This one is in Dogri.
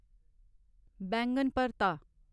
बैंगन भरता